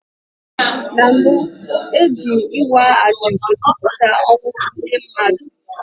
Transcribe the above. Na mbu, e ji ịwa ajo ekwupụta ọnwụ ndị mmadụ.